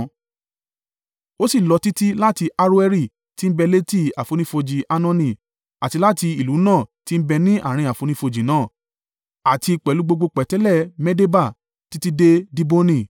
Ó sì lọ títí láti Aroeri tí ń bẹ létí àfonífojì Arnoni, àti láti ìlú náà tí ń bẹ ní àárín àfonífojì náà, àti pẹ̀lú gbogbo pẹ̀tẹ́lẹ̀ Medeba títí dé Diboni.